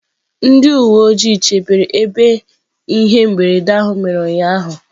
Ndị uwe ojii chebere ebe ihe mberede a mere ụnyahụ.